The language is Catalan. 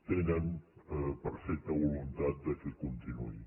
tenen perfecta voluntat que continuï